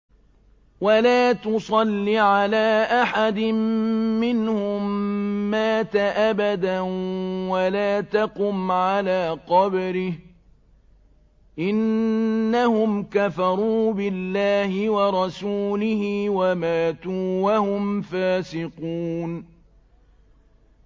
وَلَا تُصَلِّ عَلَىٰ أَحَدٍ مِّنْهُم مَّاتَ أَبَدًا وَلَا تَقُمْ عَلَىٰ قَبْرِهِ ۖ إِنَّهُمْ كَفَرُوا بِاللَّهِ وَرَسُولِهِ وَمَاتُوا وَهُمْ فَاسِقُونَ